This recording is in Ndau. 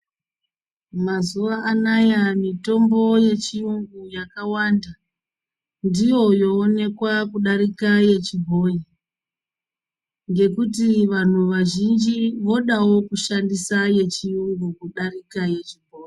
Mazuwa anaya mitombo yechiyungu yakawanda, ndiyo yowonekwa kudarika yechibhoyi, ngekuti vantu vazhinji vodawo kushandisa yechiyungu ,kudarika yechibhoyi.